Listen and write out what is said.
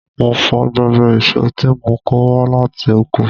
Mo fọ gbogbo èso tí mo kò wá láti oko.